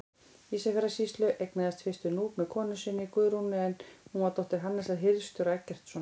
Ísafjarðarsýslu, eignaðist fyrstur Núp með konu sinni, Guðrúnu, en hún var dóttir Hannesar hirðstjóra Eggertssonar.